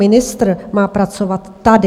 Ministr má pracovat tady!